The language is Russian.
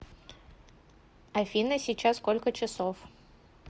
афина сейчас сколько часов